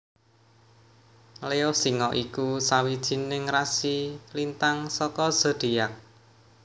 Leo Singa iku sawijining rasi lintang saka zodiak